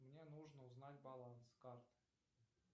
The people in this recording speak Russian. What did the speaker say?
мне нужно узнать баланс карты